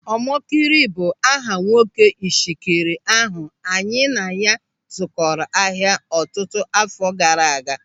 Ọmọkịrị bụ aha nwoke Ishekiri ahụ anyị na ya zụkọrọ ahịa ọtụtụ àfọ́ gaara aga.